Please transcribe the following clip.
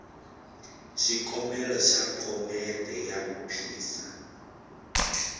xikombelo xa phomete ya vuphisa